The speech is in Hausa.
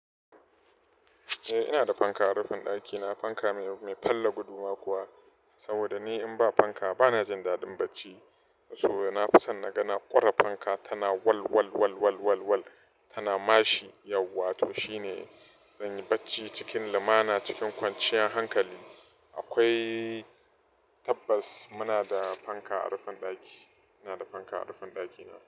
Eh ina da fanka a rufin ɗakina, fanka mai falla gudu ma kuwa. Saboda ni in ba fanka ba na jin daɗin bacci. Saboda na fi son na ga ƙure fanka, tana wal wal wal wal wal wal tana mashi, yauwa to shine zan yi bacci cikin lumana cikin kwanciyar hankali. Akwai tabbas muna da fanka a rufin ɗaki. Ina da fanka a rufin ɗakina.